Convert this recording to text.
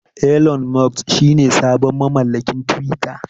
Elon Musk shine sabon mamallakin twitter.